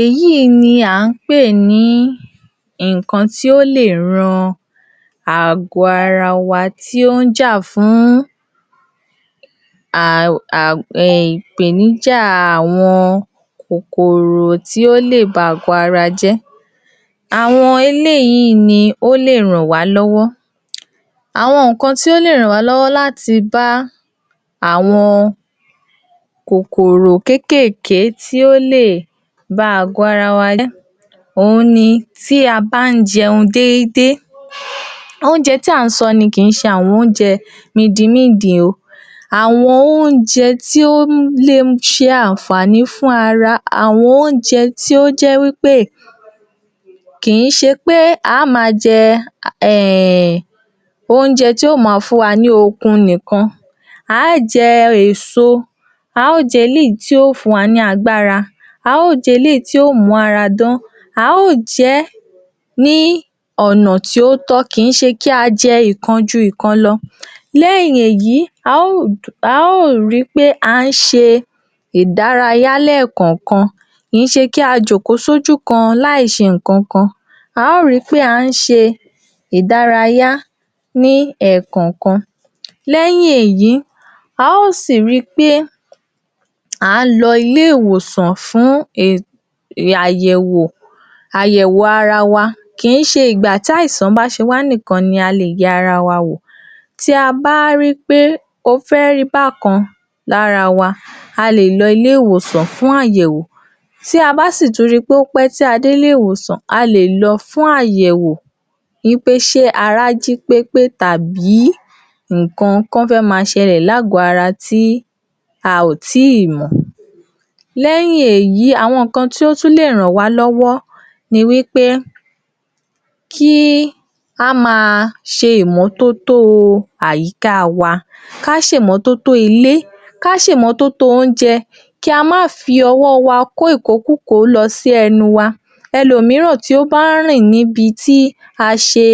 Èyí ni à ń pè ní ǹǹkan tí ó lè ran àgo̩ ara wa tó ń jà fún um, ìpèníjà àwo̩n kòkòrò tí ó lè ba àgó ara jé̩ Àwo̩n eléyìí ni ó lè ràn wá ló̩wo̩. Àwo̩n nǹkàn tí ó lè ràn wá ló̩wo̩ láti bá àwo̩n àwo̩n kòkòrò kékékèé tí ó lè ba àgó ara jé̩ òun ni, tí a bá ń jeun déédé oúnje̩ tí à ń so̩ ni, kì ń s̩e àwo̩n oúnje̩ midinmíǹdìn o. Àwo̩n oúnje̩ tí ó le s̩e àǹfàní fún ara, àwo̩n oúnje̩ tí ó jé̩ wípé kì̀í s̩e pé a á máa je̩, um oúnje̩ tí ó máa fún wa ní okun nìkan a á je̩ èso a á je̩ eléyìí tí ó fún wa lágbára a á je̩ eléyìí tí ó mú ara dán a á je̩ é̩ ní ò̩nà tí ó tó̩, kìí s̩e kí á je̩ ìkan ju ìkan lo̩. Lé̩yìn èyí, a óò a óò ri pé a ń se ìdárayá lé̩è̩ kàn-àn-kan kìí s̩e kí a jòkó sójú kan láì s̩e ǹkankan a óò ri pé a ń se ìdárayá ní è̩kànkan Lé̩yìn èyí a ó sì ri pé à ń lo̩ ilé ìwòsàn fún e- àyè̩wò àyè̩wò ara wa kìí s̩e ìgbà t'àìsàn bá se wá níkan la lè ye̩ ara wa wò tí a bá rí pé ó fé̩ rí bákan lára wa a lè lo̩ ilé ìwòsàn fún àyè̩wò tí a bá sì tún rip é ó pé̩ tí á dé ilé ìwòsàn a lè lo̩ fún àyè̩wò wípé s̩é ara jí pépé tàbí ǹkankan fé máa s̩e̩lè̩ lágò̩ó̩ ara tí a ò tí ì mò̩ Lé̩yìn èyí,, àwo̩n ǹkan tí ó tún lè ràn wá ló̩wó̩ ni wípé kí á máa s̩e ìmó̩tótó o àyíká wa ká se ìmó̩tótó ilé ká se ìmó̩tótó oúnje̩ kí a má fi o̩wó̩ wa kó ìkókúkòó lo̩ sí e̩nu wa elòmíràn tí ó bá ń rìn ní ibi tí a s̩e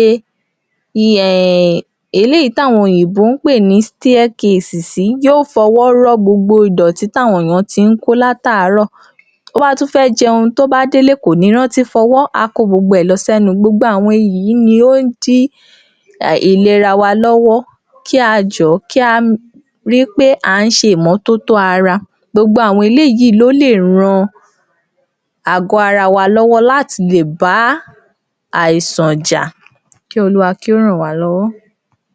eléyìí t’áwo̩n òyìnbó ń pè ní ‘staircase’ sí, yóò fo̩wo̩ ró gbogbo ìdòtí t’áwo̩n èyàn ti ń kó látàárò̩ tó bá tun̩ fé̩ je̩un, tóbá délé, kò ní rántí fo̩wó̩, á kó gbogbo e̩ lo̩ sé̩nu. gbogbo àwo̩n yìí ni ó ń dí ìlera wa ló̩wó̩ kí a jò̩ó̩ kí a rí pé à ń s̩e ìmótótó ara gbogbo àwo̩n eléyìí ló lè ran àgó ara wa ló̩wó̩ láti lè bá àìsàn jà kí olúwa kí ó ràn wá ló̩wó̩.